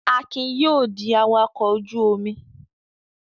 Akin yóò di awakọ̀ ojú-omi!